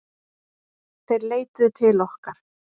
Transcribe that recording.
Þeir leituðu til okkar